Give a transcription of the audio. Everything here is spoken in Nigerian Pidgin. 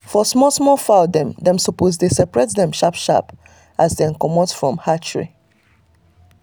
for small small fowl dem supose dey saperate dem sharp sharp as dem comut from hatchery